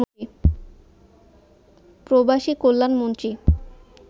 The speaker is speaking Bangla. প্রবাসী কল্যাণ মন্ত্রী